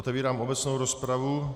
Otevírám obecnou rozpravu.